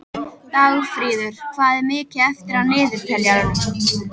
Dagfríður, hvað er mikið eftir af niðurteljaranum?